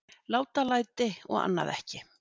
Látalæti og annað ekki.